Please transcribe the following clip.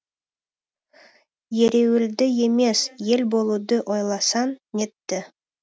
ереуілді емес ел болуды ойласаң нетті